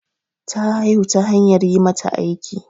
Ta haihu ta hanyar yi mata aiki.